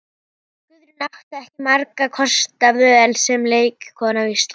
Guðrún átti ekki margra kosta völ sem leikkona á Íslandi.